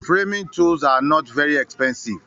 Framing tools are not very expensive